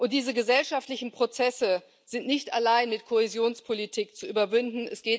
Diese gesellschaftlichen Prozesse sind nicht allein mit Kohäsionspolitik zu überwinden.